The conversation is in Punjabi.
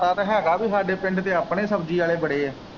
ਪਤਾ ਤੇ ਹੈਗਾ ਪੀ ਸਾਡੇ ਪਿੰਡ ਤੇ ਆਪਣੇ ਸ਼ਬਜੀ ਆਲ਼ੇ ਬੜੇ ਏ।